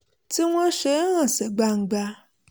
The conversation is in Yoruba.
tí wọ́n ṣe é hàn sí gbangba